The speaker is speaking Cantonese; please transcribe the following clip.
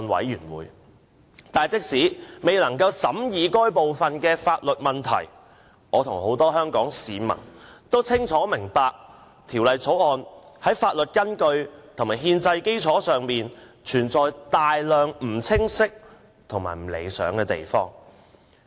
然而，即使我未能參與審議有關的法律問題，我與很多香港市民也清楚明白，《條例草案》在法律依據和憲制基礎上，存有大量不清晰及不理想的地方。